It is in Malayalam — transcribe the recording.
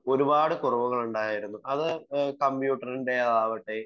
ഒരുപാടു കുറവുകൾ ഉണ്ടായിരുന്നു . അത് കമ്പ്യൂട്ടറിന്റെ ആവട്ടെ